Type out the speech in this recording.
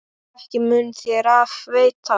Ekki mun þér af veita.